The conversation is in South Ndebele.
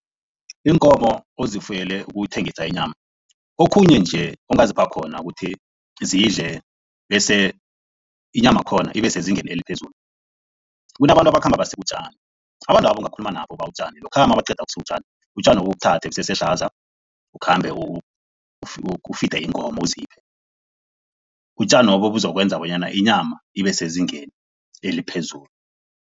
Iinkomo ozifuyele ukuthengisa inyama, okhunye nje ongazipha khona ukuthi zidle bese inyamakhona ibesezingeni eliphezulu, kunabantu abakhamba basika utjani. Abantwabo ungakhuluma nabo ubawe utjani lokha mabaqeda ukusika utjani, utjanobu ubuthathe busesehlaza, ukhambe ufide iinkomo, uziphe. Utjanobo buzokwenza bonyana inyama ibesezingeni eliphezulu.